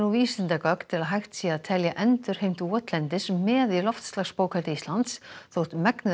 vísindagögn til að hægt sé að telja endurheimt votlendis með í loftslagsbókhaldi Íslands þótt megnið